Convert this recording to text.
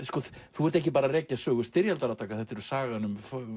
þú ert ekki bara að rekja sögu styrjaldarátaka þetta er sagan um